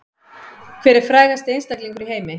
Hver er frægasti einstaklingur í heimi